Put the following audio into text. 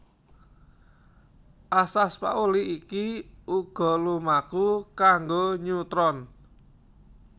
Asas Pauli iki uga lumaku kanggo neutron